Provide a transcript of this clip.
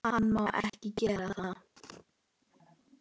Hann má ekki gera það.